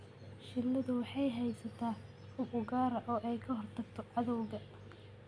Shinnidu waxay haysataa hub u gaar ah oo ay kaga hortagto cadawga.